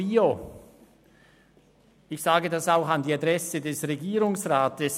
Ich sage dies auch an die Adresse des Regierungsrats: